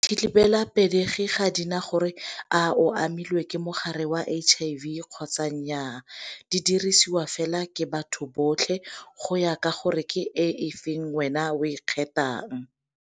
Dithibelapelegi ga di na gore a o amilwe ke mogare wa H_I_V kgotsa nnyaa, di dirisiwa fela ke batho botlhe go ya ka gore ke e feng wena o e kgethang.